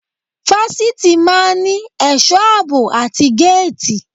Fásitì máa ń ní ẹ̀sọ́ àbò àti géètì.